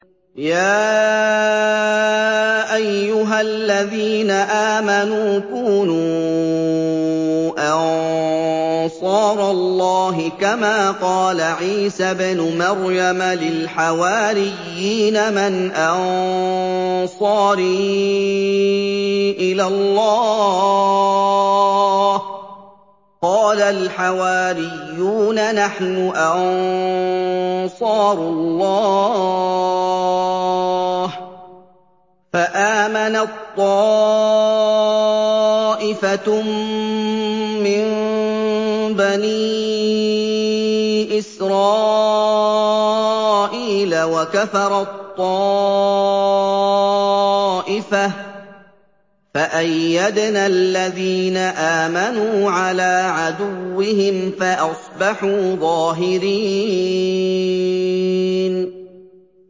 يَا أَيُّهَا الَّذِينَ آمَنُوا كُونُوا أَنصَارَ اللَّهِ كَمَا قَالَ عِيسَى ابْنُ مَرْيَمَ لِلْحَوَارِيِّينَ مَنْ أَنصَارِي إِلَى اللَّهِ ۖ قَالَ الْحَوَارِيُّونَ نَحْنُ أَنصَارُ اللَّهِ ۖ فَآمَنَت طَّائِفَةٌ مِّن بَنِي إِسْرَائِيلَ وَكَفَرَت طَّائِفَةٌ ۖ فَأَيَّدْنَا الَّذِينَ آمَنُوا عَلَىٰ عَدُوِّهِمْ فَأَصْبَحُوا ظَاهِرِينَ